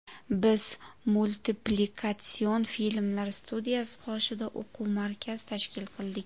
Biz Multiplikatsion filmlar studiyasi qoshida o‘quv markaz tashkil qildik.